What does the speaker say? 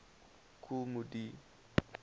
kool moe dee